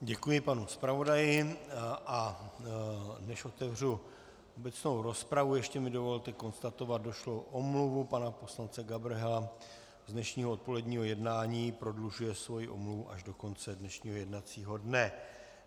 Děkuji panu zpravodaji, a než otevřu obecnou rozpravu, ještě mi dovolte konstatovat došlou omluvu pana poslance Gabrhela z dnešního odpoledního jednání - prodlužuje svoji omluvu až do konce dnešního jednacího dne.